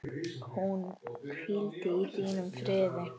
Hún hvíli í þínum friði.